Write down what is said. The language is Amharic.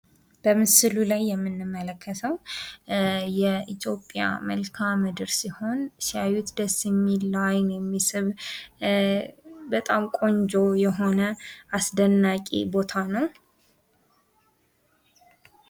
በምስሉ ላይ የምንመለከተው የኢትዮጵያ መልከአምድር ሲሆን ሲያዩት ደስ የሚል ለአይን የሚስብ በጣም ቆንጆ የሆነ አስደናቂ ቦታ ነው።